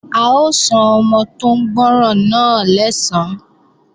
A ó san ọmọ tó ń gbọ́ràn náà lẹ́san